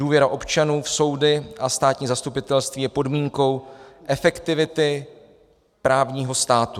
Důvěra občanů v soudy a státní zastupitelství je podmínkou efektivity právního státu."